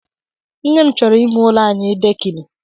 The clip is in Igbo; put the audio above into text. Nne m chọro ime ụlọ anyị dekini